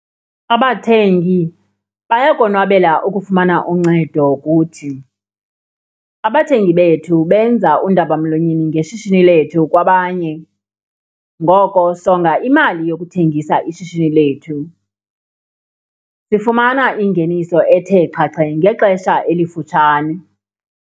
Abathengi bayakonwabela ukufumana uncedo kuthi. Abathengi bethu benza undabamlonyeni ngeshishini lethu kwabanye ngoko sokonga imali yokuthengisa ishishini lethu. Sifumana ingeniso ethe xhaxhe ngexesha elifutshane.